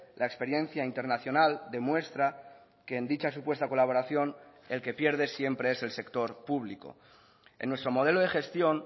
la experiencia internacional demuestra que en dicha supuesta colaboración el que pierde siempre es el sector público en nuestro modelo de gestión